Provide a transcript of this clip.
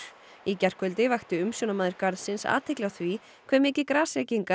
í gærkvöldi vakti umsjónarmaður garðsins athygli á því hve mikið